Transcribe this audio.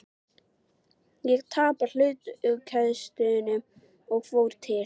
Ég tapaði hlutkestinu og fór til